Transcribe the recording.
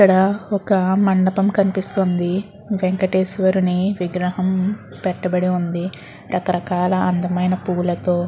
ఇక్కడ ఒక మనదాపం కనిపిస్తుంది వెంకేతెస్వరున్ని విగ్రహం పెటు బడ్డి వుందు రకాల రకాల అందం ఆయన పుల్ల తో --